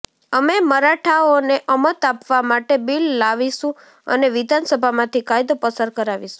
અમે મરાઠાઓને અમત આપવા માટે બિલ લાવીશું અને વિધાનસભામાંથી કાયદો પસાર કરાવીશું